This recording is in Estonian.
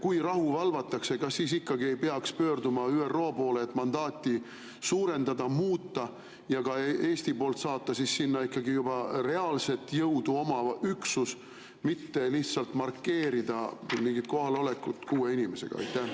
Kui rahu valvatakse, kas siis ikkagi ei peaks pöörduma ÜRO poole, et mandaati suurendada, muuta ja ka Eestist saata sinna juba reaalse jõuga üksus, mitte lihtsalt markeerida mingit kohalolekut kuue inimesega?